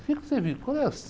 O quê que você vive? Qual é as...